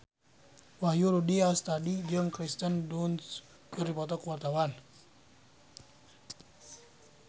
Wahyu Rudi Astadi jeung Kirsten Dunst keur dipoto ku wartawan